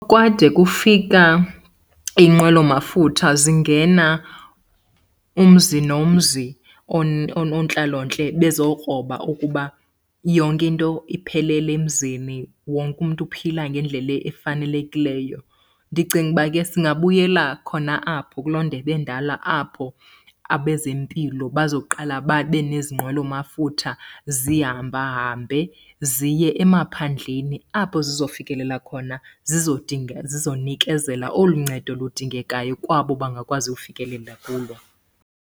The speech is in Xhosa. Kwade kufika inqwelomafutha zingena umzi nomzi, oonontlalontle bezokroba ukuba yonke into iphelele emzini, wonke umntu uphila ngendlela efanelekileyo. Ndicinga uba ke singabuyela khona apho kuloo ndebe endala, apho abezempilo bazoqala babe nezi nqwelomafutha zihambahambe ziye emaphandleni apho zizofikelela khona zizonikezela olu ncedo ludingekayo kwabo bangakwazi ufikelela kulo.